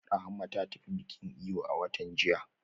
Rahama ta tafi bikin eyo a watan jiya